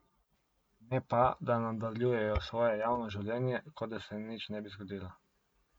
Ne pa, da nadaljujejo svoje javno življenje, kot da se nič ne bi zgodilo.